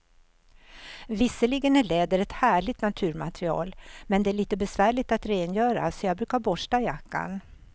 Visserligen är läder ett härligt naturmaterial, men det är lite besvärligt att rengöra, så jag brukar borsta jackan.